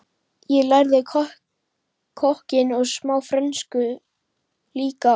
En ég lærði kokkinn og smá frönsku líka og